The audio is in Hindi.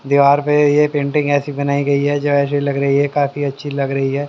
दीवार पे ये पेंटिंग ऐसी बनाई गई है जो ऐसी लग रही है काफी अच्छी लग रही है।